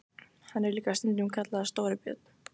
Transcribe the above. Hann er líka stundum kallaður Stóri björn.